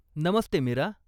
Namaste, Mira.